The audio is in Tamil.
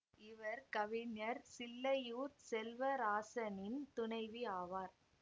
இவர் கவிஞர் சில்லையூர் செல்வராசனின் துணைவி ஆவார்